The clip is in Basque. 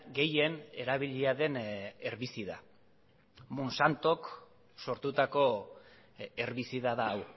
gehien erabilia den herbizida monsantok sortutako herbizida da hau